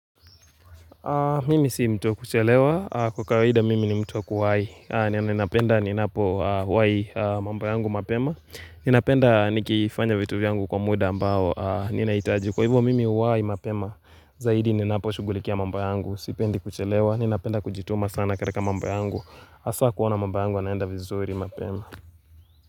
Mimi si mtu wa kuchelewa, kwa kawaida mimi ni mtu wa kuwai, na ninapenda ninapowai mambo yangu mapema, ninapenda nikifanya vitu vyangu kwa muda ambao ninahitaji kwa hivyo mimi huwai mapema, zaidi ninaposhugulikia mambo yangu, sipendi kuchelewa, ninapenda kujituma sana kataka mambo yangu, haswa kuona mambo yangu yanaenda vizuri mapema.